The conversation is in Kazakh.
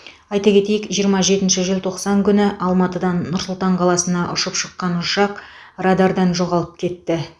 айта кетейік жиырма жетінші желтоқсан күні алматыдан нұр сұлтан қаласына ұшып шыққан ұшақ радардан жоғалып кетті